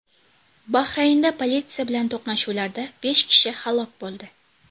Bahraynda politsiya bilan to‘qnashuvlarda besh kishi halok bo‘ldi.